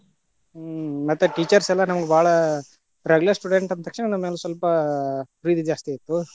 ಹ್ಮ್, ಮತ್ತೆ teachers ಯೆಲ್ಲಾ ನಮ್ಗ ಬಾಳ regular student ಅಂತಕ್ಷಣ ನಮ್ಗ ಸ್ವಲ್ಪ, ಪ್ರೀತಿ ಜಾಸ್ತಿ ಇತ್ತು.